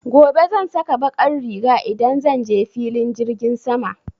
Gobe zan saka baƙar riga idan zan je filin jirgin sama.